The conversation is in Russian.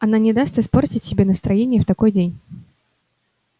она не даст испортить себе настроение в такой день